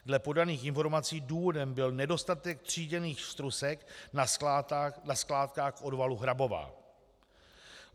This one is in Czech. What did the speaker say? Dle podaných informací důvodem byl nedostatek tříděných strusek na skládkách odvalu Hrabová.